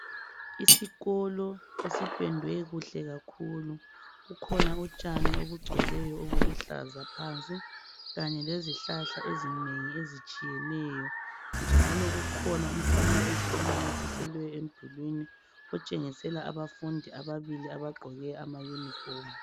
Isikolo esipendwe kuhle kakhulu. Kukhona utshani obugcweleyo, obuluhlaza phansi. Kanye lezihlahla ezinengi , ezitshiyeneyo, njalo kukhona umifanekiso onamathiselwe emdulwini, iotshengisa abafundi ababili, abagqoke amayunifomu.